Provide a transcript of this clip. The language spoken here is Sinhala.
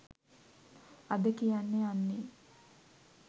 අද කියන්න යන්නෙ